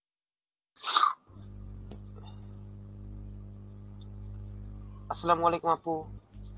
Arbi আপু.